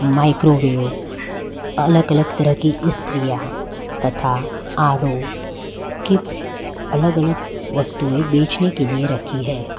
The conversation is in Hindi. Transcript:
माइक्रोवेव अलग अलग तरह की स्त्री यहा तथा आर_ओ की अलग अलग वस्तुएं बेचने के लिए रखी है।